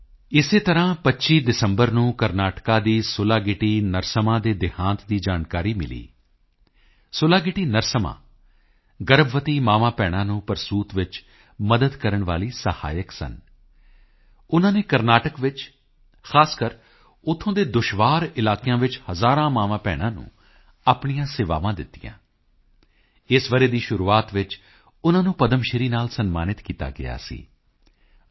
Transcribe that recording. ਇਸੇ ਤਰ੍ਹਾਂ 25 ਦਸੰਬਰ ਨੂੰ ਕਰਨਾਟਕ ਦੀ ਸੁਲਾਗਿੱਟੀ ਨਰਸੱਮਾ ਦੇ ਦੇਹਾਂਤ ਦੀ ਜਾਣਕਾਰੀ ਮਿਲੀ ਸੁਲਾਗਿੱਟੀ ਨਰਸੱਮਾ ਗਰਭਵਤੀ ਮਾਵਾਂਭੈਣਾਂ ਨੂੰ ਪ੍ਰਸੂਤ ਵਿੱਚ ਮਦਦ ਕਰਨ ਵਾਲੀ ਸਹਾਇਕਾ ਸਨ ਉਨ੍ਹਾਂ ਨੇ ਕਰਨਾਟਕ ਵਿੱਚ ਖਾਸ ਕਰਕੇ ਉੱਥੋਂ ਦੇ ਦੁਸ਼ਵਾਰ ਇਲਾਕਿਆਂ ਵਿੱਚ ਹਜ਼ਾਰਾਂ ਮਾਵਾਂਭੈਣਾਂ ਨੂੰ ਆਪਣੀਆਂ ਸੇਵਾਵਾਂ ਦਿੱਤੀਆਂ ਇਸ ਵਰ੍ਹੇ ਦੀ ਸ਼ੁਰੂਆਤ ਵਿੱਚ ਉਨ੍ਹਾਂ ਨੂੰ ਪਦਮਸ਼੍ਰੀ ਨਾਲ ਸਨਮਾਨਿਤ ਕੀਤਾ ਗਿਆ ਸੀ ਡਾ